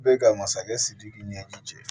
Bɛ ka masakɛ sidiki ɲɛji cɛ